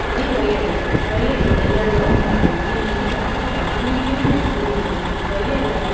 ఇవి రొయ్యలు. రొయ్యలు నీలలో ఉంటాయి. ఇవి నీటి జాతికి సమందించిన జంతువు. రొయ్యలను --